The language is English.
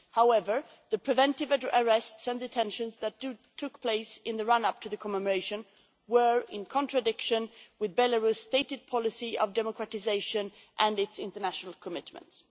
However, the preventive arrests and detentions that took place in the run up to the commemoration were in contradiction with Belarus' stated policy of democratisation and its international commitments.